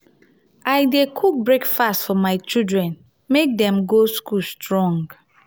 i dey cook breakfast for my children make dem go school strong.